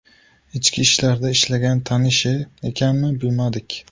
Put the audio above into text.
Ichki ishlarda ishlagan tanishi ekanmi, bilmadik.